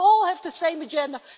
You all have the same agenda.